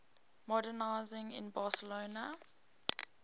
modernisme in barcelona